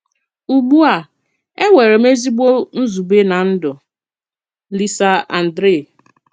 Ùgbù a Énwèrè M Èzìgbò Nzùbè nà Ndú. – LISA ANDRÉ